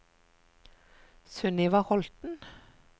Sunniva Holten